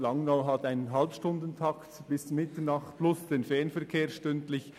Langnau hat einen Halbstundentakt bis Mitternacht plus stündlich eine Fernverbindung.